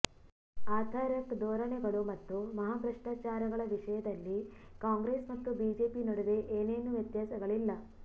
ಆಥರ್ಿಕ ಧೋರಣೆಗಳು ಮತ್ತು ಮಹಾಭ್ರಷ್ಟಾಚಾರಗಳ ವಿಷಯದಲ್ಲಿ ಕಾಂಗ್ರೆಸ್ ಮತ್ತು ಬಿಜೆಪಿ ನಡುವೆ ಏನೇನೂ ವ್ಯತ್ಯಾಸಗಳಿಲ್ಲ